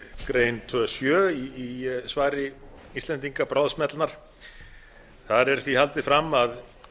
grein tvær sjö í svari íslendinga bráðsmellnar þar er því haldið fram að